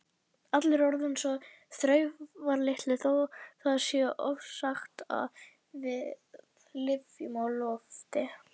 Allir eru orðnir svo þurftarlitlir þótt það sé ofsagt að við lifum á loftinu.